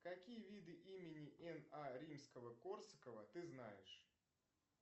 какие виды имени н а римского корсакова ты знаешь